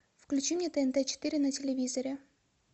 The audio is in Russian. включи мне тнт четыре на телевизоре